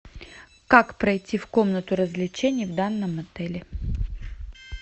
как пройти в комнату развлечений в данном отеле